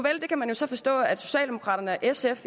forstå at socialdemokraterne og sf